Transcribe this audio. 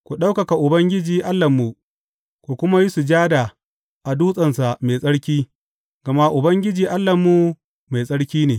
Ku ɗaukaka Ubangiji Allahnmu ku kuma yi sujada a dutsensa mai tsarki, gama Ubangiji Allahnmu mai tsarki ne.